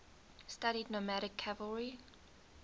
studied nomadic cavalry